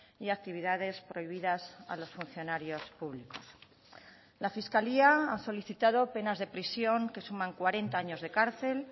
y actividades prohibidas a los funcionarios públicos la fiscalía ha solicitado penas de prisión que suman cuarenta años de cárcel